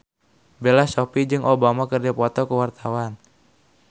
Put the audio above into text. Bella Shofie jeung Obama keur dipoto ku wartawan